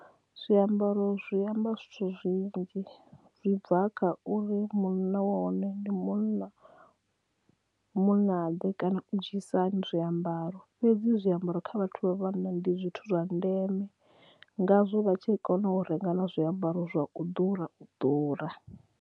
Zwiambaro zwi amba zwithu zwinzhi zwi bva kha uri munna wa hone ndi munna munna ḓe kana u dzhiisa hani zwiambaro fhedzi zwiambaro kha vhathu vha vhanna ndi zwithu zwa ndeme ngazwo vha tshi kona u renga na zwiambaro zwa u ḓura u ḓura.